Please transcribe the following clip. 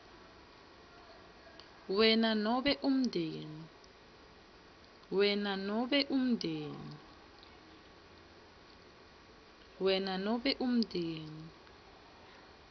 wena nobe umndeni